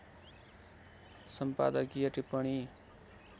सम्पादकीय टिप्पणी